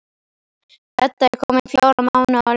Edda er komin fjóra mánuði á leið.